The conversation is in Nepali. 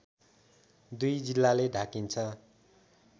दुई जिल्लाले ढाकिन्छ